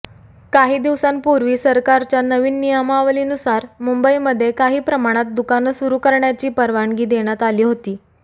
काही दिवसांपूर्वी सरकारच्या नवीन नियमावलीनुसार मुंबईमध्ये काहीप्रमाणात दुकानं सुरु करण्याची परवानगी देण्यात आली होती